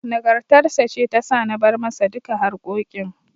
Nagartar sa ce ta sa na bar masa duka harkokin.